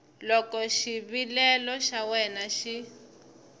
loko xivilelo xa wena xi